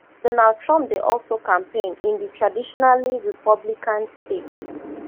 donald trump dey also campaign in di traditionally republican state